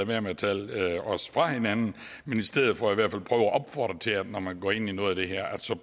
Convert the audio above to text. være med at tale os fra hinanden men i stedet for opfordrer til at når man går ind i noget af det her